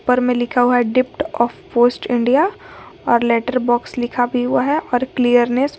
पर में लिखा हुआ है डिप्ट ऑफ पोस्ट इंडिया और लेटर बॉक्स लिखा भी हुआ है और क्लियरनेस --